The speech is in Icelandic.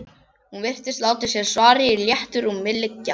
Hún virtist láta sér svarið í léttu rúmi liggja.